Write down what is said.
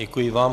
Děkuji vám.